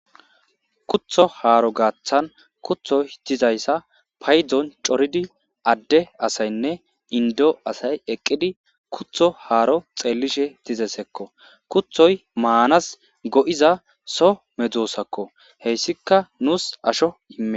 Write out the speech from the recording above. Kutho haaro gaaththan kuthoy dizayssa paydzon coridi adde asaynne indo asay eqqidi kutho haaro xeellishe tizesekko kuthoy maanas go'iza so medzoosakko heyssika nuus asho imme.